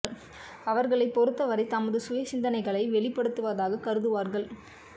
அவர்களைப் பொறுத்த வரை தமது சுய சிந்தனைகளை வெளிப்படுத்துவதாகக் கருதுவார்கள்